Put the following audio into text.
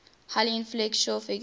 highly influential figure